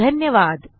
धन्यवाद